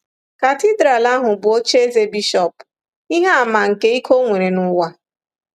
Katidral ahụ bụ ocheeze bishọp, ihe àmà nke ike o nwere n’ụwa.